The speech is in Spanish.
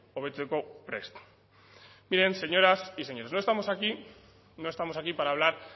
hobetzeko prest miren señoras y señores no estamos aquí no estamos aquí para hablar